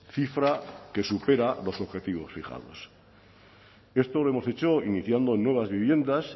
cifra que supera los objetivos fijados esto lo hemos hecho iniciando nuevas viviendas